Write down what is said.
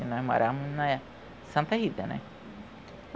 E nós morávamos na Santa Rita, né?